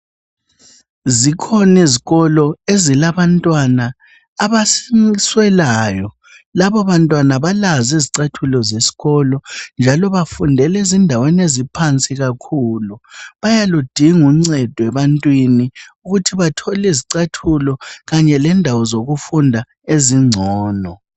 zikhona izikolo ezilabantwana abaswelayo lababantwana abalazo izicathulo zesikolo njalo bafundela ezindaweni eziphansi kakhulu bayaludinga uncedo ebantwini ukuthi bathole izicathulo kanye lendawo zokufunda ezincono